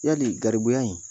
Yali garibu in